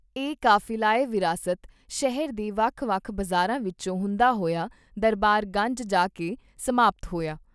ਇਹ ਕਾਫਿਲਾ ਏ ਵਿਰਾਸਤ ਸ਼ਹਿਰ ਦੇ ਵੱਖ ਵੱਖ ਬਾਜ਼ਾਰਾਂ ਵਿਚੋਂ ਹੁੰਦਾ ਹੋਇਆ ਦਰਬਾਰ ਗੰਜ ਜਾ ਕੇ ਸਮਾਪਤ ਹੋਇਆ।